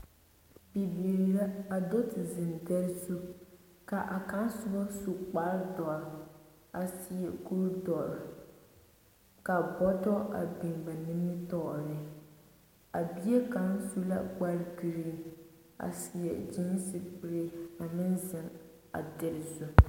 Bibiiri la, a do te zeŋ dɛre zu, ka a kaŋa soba su kpare doɔre a seɛ kuri doɔre, ka bɔtɔ a biŋ ba nimitɔɔreŋ. A bie kaŋa su la kpare giriiŋ a seɛ gyeense kuree ameŋ zeŋ a dɛre zu.